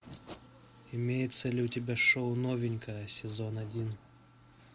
имеется ли у тебя шоу новенькая сезон один